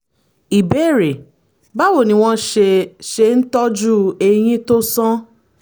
ìbéèrè: báwo ni wọ́n ṣe ṣe ń tọ́jú eyín tó sán?